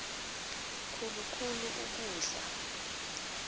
khulu khulu ukudla